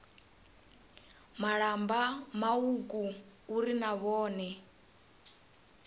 malamba mauku uri na vhone